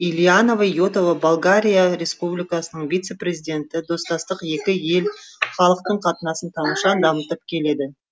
илияна и отова болгария республикасының вице президенті достастық екі ел халықтың қатынасын тамаша дамытып келеді